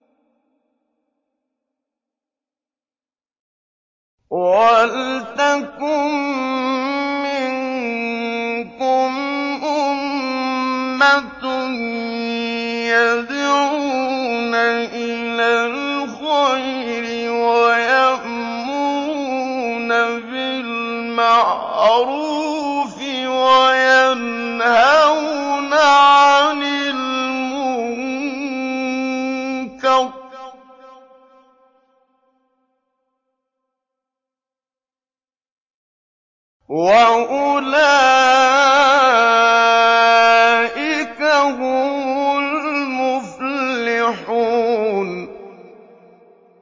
وَلْتَكُن مِّنكُمْ أُمَّةٌ يَدْعُونَ إِلَى الْخَيْرِ وَيَأْمُرُونَ بِالْمَعْرُوفِ وَيَنْهَوْنَ عَنِ الْمُنكَرِ ۚ وَأُولَٰئِكَ هُمُ الْمُفْلِحُونَ